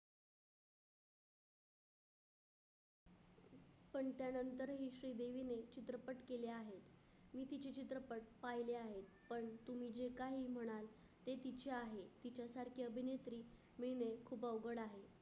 पाहिले आहेत, पण तुम्ही जे काही म्हणाल ते तिचे आहे. तिच्यासारखी अभिनेत्री मिळणे खूप अवघड आहे.